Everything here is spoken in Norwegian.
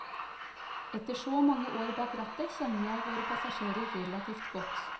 Etter så mange år bak rattet kjenner jeg våre passasjerer relativt godt.